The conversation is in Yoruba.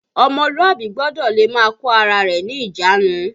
Ọmọlúàbí gbọ́dọ̀ le máa kó ara rẹ̀ ní ìjánu